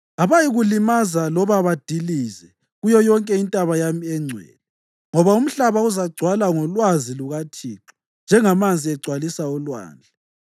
Abayikulimaza loba badilize kuyo yonke intaba yami engcwele, ngoba umhlaba uzagcwala ngolwazi lukaThixo njengamanzi egcwalisa ulwandle.